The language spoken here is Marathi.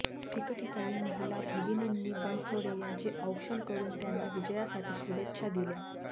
ठिकठिकाणी महिला भगिनींनी बनसोडे यांचे औक्षण करून त्यांना विजयासाठी शुभेच्छा दिल्या